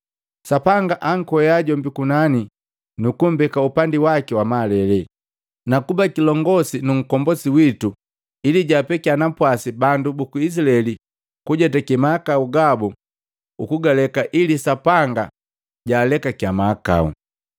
Sapanga ankwea jombi kunani nukumbeka upandi waki wa malele, na kuba kilongosi nu Nkombosi witu ili jaapekiya napwasi bandu buku Izilaeli kujetake mahakau gabu ukugaleka ili Sapanga jaalekake mahakau.